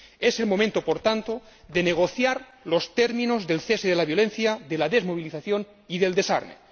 Es el momento, por tanto, de negociar los términos del cese de la violencia, de la desmovilización y del desarme.